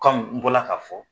n bɔla ka fɔ